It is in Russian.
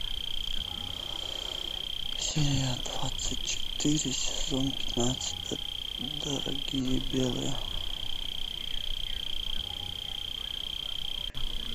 серия двадцать четыре сезон пятнадцать дорогие белые